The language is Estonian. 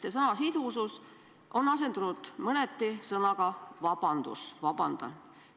See sõna "sidusus" on asendunud mõneti sõnaga "vabandust!".